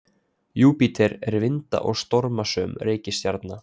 Júpíter er vinda- og stormasöm reikistjarna.